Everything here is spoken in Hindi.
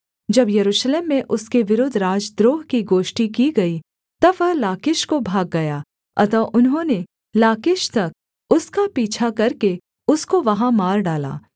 जब यरूशलेम में उसके विरुद्ध राजद्रोह की गोष्ठी की गई तब वह लाकीश को भाग गया अतः उन्होंने लाकीश तक उसका पीछा करके उसको वहाँ मार डाला